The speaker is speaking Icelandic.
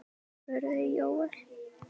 spurði Jóel.